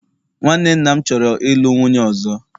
nwanne nna m choro ilu nwunye ozo